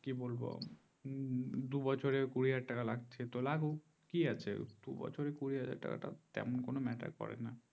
কি বলবো দুই বছরের কুড়ি হাজার টাকা লাগবে তো লাগুক কি আছে দুই বছরের কুড়ি হাজার তেমন কোনো matter করে না